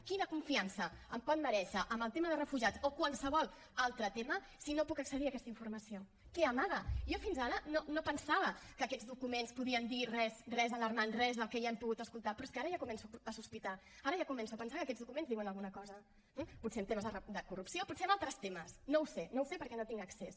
quina confiança em pot merèixer en el tema de refugiats o qualsevol altre tema si no puc accedir a aquesta informació què amaga jo fins ara no pensava que aquests documents podien dir res alarmant res del que ja hem pogut escoltar però és que ara ja començo a sospitar ara ja començo a pensar que aquests documents diuen alguna cosa eh potser en temes de corrupció potser en altres temes no ho sé no ho sé perquè no hi tinc accés